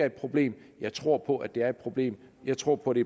et problem jeg tror på at det er et problem jeg tror på det